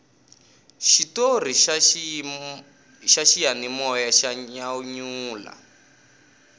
xitori xa xiyanimoya xa nyanyula